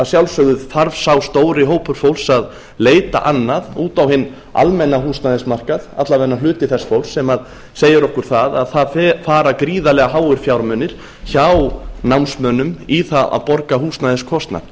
sjálfsögðu þarf sá stóri hópur fólks að leita annað út á hinn almenna húsnæðismarkað alla vega hluti þess fólks sem segir okkur það að það fara gríðarlega háir fjármunir hjá námsmönnum í það að borga húsnæðiskostnað